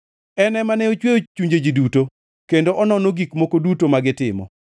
en ema ne ochweyo chunje ji duto, kendo onono gik moko duto ma gitimo.